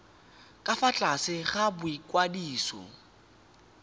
ka fa tlase ga boikwadiso